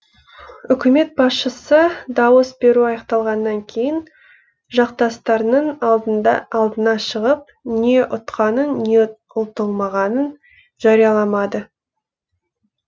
үкімет басшысы дауыс беру аяқталғаннан кейін жақтастарының алдына шығып не ұтқанын не ұтылмағанын жарияламады